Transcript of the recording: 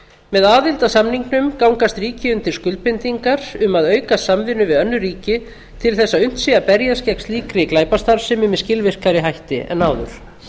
með aðild að samningnum gangast ríki undir skuldbindingar um að auka samvinnu við önnur ríki til þess að unnt sé að berjast gegn slíkri glæpastarfsemi með skilvirkari hætti en áður